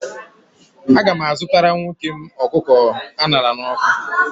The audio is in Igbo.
Aga m azụtara nwoke m ọkụkọ a ṅara n'ọkụ